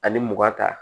Ani mugan ta